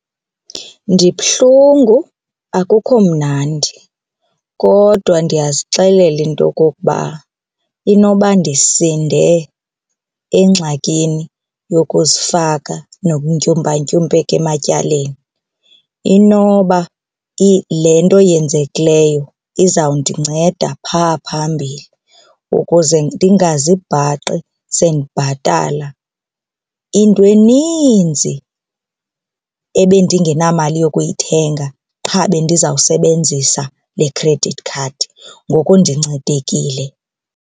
Ndibuhlungu, akukho mnandi kodwa ndiyazixelela into yokokuba inoba ndisinde engxakini yokuzifaka nokutyumpantyumpeka ematyaleni. Inoba le nto yenzekileyo izawundinceda phaa phambili ukuze ndingazibhaqi sendibhatala into eninzi ebendingenamali yokuyithenga qha bendizawusebenzisa le credit card, ngoku ndincedekile.